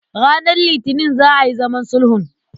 Ranar Litinin za a yi zaman sulhun.